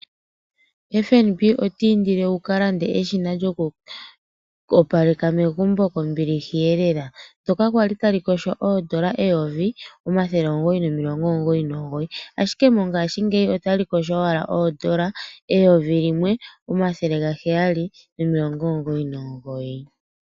FNB otiindile wuka lande eshina djoku opaleka megumbo kombiliha elela hoka kwali tali kosho oodola 1999, ashike mongaashingeyi otali kosho owala oodola 1799.